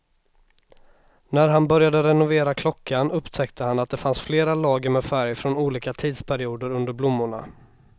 När han började renovera klockan upptäckte han att det fanns flera lager med färg från olika tidsperioder under blommorna.